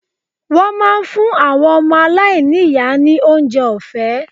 Wọ́n máa ń fún àwọn ọmọ aláìní yàrá ní oúnjẹ ọ̀fẹ́.